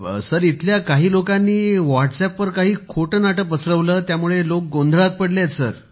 sir इथल्या काही लोकांनी व्हॉट्सअॅपवर काही खोटेनाटे पसरवले त्यामुळे लोक गोंधळात पडले आहेत सर